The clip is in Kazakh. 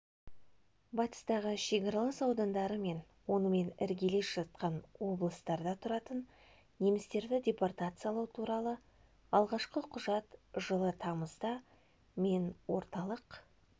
батыстағы шекаралас аудандары мен онымен іргелес жатқан облыстарда тұратын немістерді депортациялау туралы алғашқы құжат жылы тамызда мен орталық